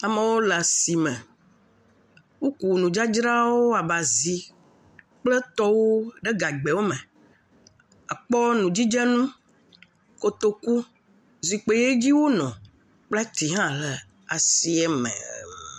Amewo le asime. Wo kunu dzradzra abe azi kple tɔwo ɖe gagbe me, ekpɔ nudzidzɛnu, kotoku, zikpui yi dzi wo nɔ kple ti hã he asime.